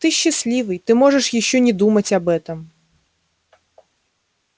ты счастливый ты можешь ещё не думать об этом